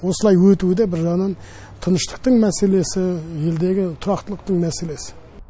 осылай өтуі де бір жағынан тыныштықтың мәселесі елдегі тұрақтылықтың мәселесі